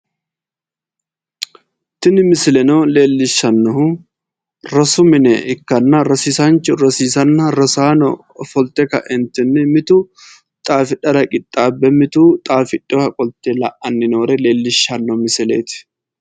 Tini misileno leellishshannohu rosu mine ikkanna rosiisaanchu rosiisanna rosaano ofolte ka'entinni mitu xaafidhara qixaabbe mitu xaafidhiwoha qolte la'awore leellishshanno misileeti.